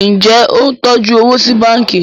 Njé o ń tọjú owo sí bánkì?